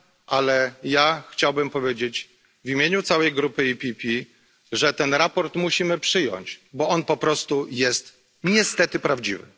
Ale ja chciałbym powiedzieć w imieniu całej grupy PPE, że to sprawozdanie musimy przyjąć, bo ono po prostu jest niestety prawdziwe.